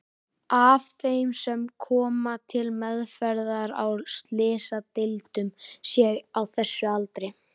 af þeim sem koma til meðferðar á slysadeildum séu á þessum aldri.